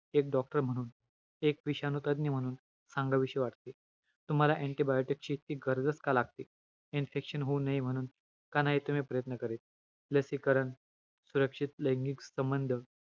आहार रसामध्ये केवळ सप्त धातूचे पोषक अंश असतात.आहार रसा मध्ये कोणताही मलांश नसल्याने, आहार रसाला सारं भूत म्हणटले आहे . आहार रसाचे उत्पत्ती स्थान